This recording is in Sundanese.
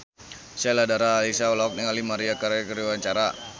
Sheila Dara Aisha olohok ningali Maria Carey keur diwawancara